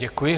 Děkuji.